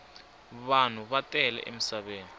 vanhu va tele emisaveni